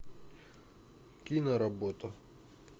киноработа